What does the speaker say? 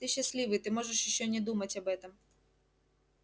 ты счастливый ты можешь ещё не думать об этом